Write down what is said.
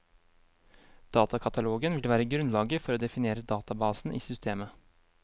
Datakatalogen vil være grunnlaget for å definere databasen i systemet.